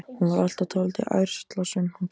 Hún var alltaf dálítið ærslasöm, hún Gerður.